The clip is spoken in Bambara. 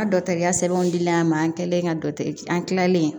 A dɔkɔtɔrɔya sɛbɛnw dilen ma an kɛlen ka dɔkitɛri an kilalen